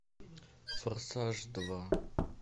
форсаж два